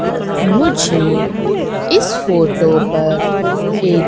मुझे इस फोटो पर एक--